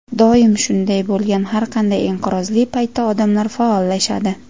Doim shunday bo‘lgan: har qanday inqirozli paytda odamlar faollashadi”.